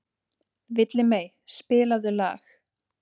Villimey, spilaðu lag.